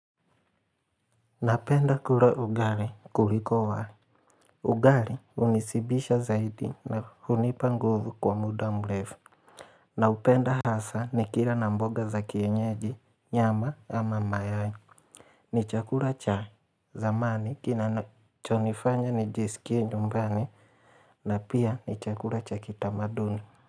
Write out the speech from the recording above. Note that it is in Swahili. Napenda kula ugali kuliko wali. Ugali hunishibisha zaidi na hunipa nguvu kwa muda mrefu. Naupenda hasa nikila na mboga za kienyeji, nyama ama mayai. Ni chakula chai. Zamani kinachonifanya nijisikie nyumbani na pia ni chakula cha kitamaduni.